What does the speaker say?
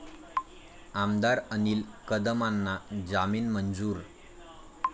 आमदार अनिल कदमांना जामीन मंजूर